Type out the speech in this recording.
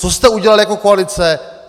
Co jste udělali jako koalice?